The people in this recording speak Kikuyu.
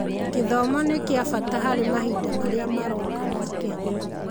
Gĩthomo nĩ kĩa bata harĩ mahinda marĩa maroka ma Kenya.